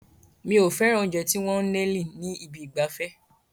Mi ò fẹ́ràn oúnjẹ tí wọ́n ń eliing ní ibi ìgbafẹ́.